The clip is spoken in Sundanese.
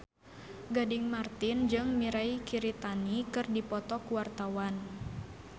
Gading Marten jeung Mirei Kiritani keur dipoto ku wartawan